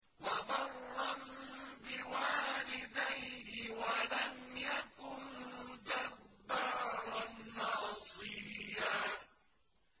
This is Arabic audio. وَبَرًّا بِوَالِدَيْهِ وَلَمْ يَكُن جَبَّارًا عَصِيًّا